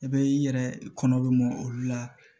I bɛ i yɛrɛ kɔnɔ bɛ mɔ olu la